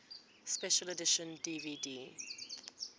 special edition dvd